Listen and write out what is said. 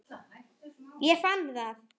Ég fann það.